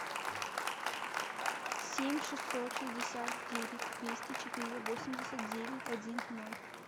семь шестьсот шестьдесят девять двести четыре восемьдесят девять один ноль